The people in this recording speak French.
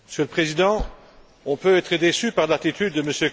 Monsieur le Président, on peut être déçu par l'attitude de M.